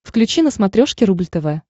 включи на смотрешке рубль тв